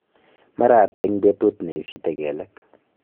mara ata eng petut neisite kelek